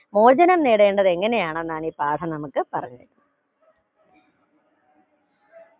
മോചനം നേടേണ്ടത് എങ്ങനെയാണ് എന്നാണ് ഈ പാഠം നമുക്ക് പറഞ്ഞു തരു